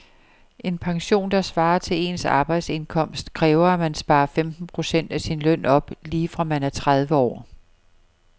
En pension, der svarer til ens arbejdsindkomst, kræver at man sparer femten procent af sin løn op lige fra man er tredive år.